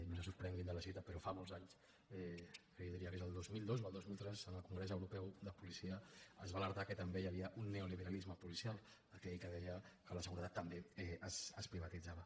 no se sorprenguin de la cita però fa molts anys jo diria que era el dos mil dos o el dos mil tres en el congrés europeu de policia es va alertar del fet que també hi havia un neoliberalisme policial aquell que deia que la seguretat també es privatitzava